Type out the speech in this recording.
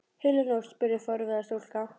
Heila nótt? spurði forviða stúlka.